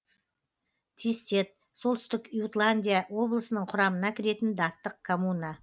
тистед солтүстік ютландия облысының құрамына кіретін даттық коммуна